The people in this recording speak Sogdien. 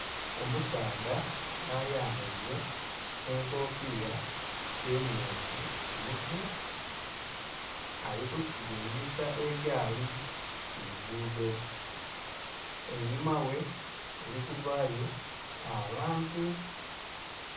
Omusaadha ayambaire enkofira emyufu ku mutwe ali kusilingisa egaali ku lugudho einhuma ghe eli kuvaayo abantu.